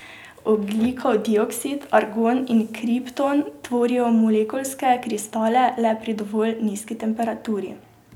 Ogljikov dioksid, argon in kripton tvorijo molekulske kristale le pri dovolj nizki temperaturi.